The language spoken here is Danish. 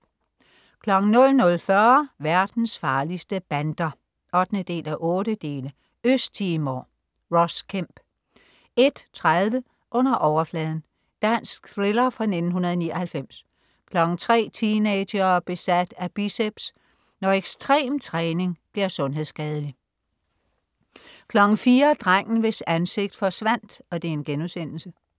00.40 Verdens farligste bander 8:8. Øst Timor. Ross Kemp 01.30 Under overfladen. Dansk thriller fra 1999 03.00 Teenagere besat af biceps. Når ekstrem træning bliver sundhedsskadelig 04.00 Drengen, hvis ansigt forsvandt*